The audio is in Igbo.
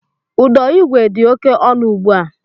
Ụdọigwe dị oké ọnụ ùgbú à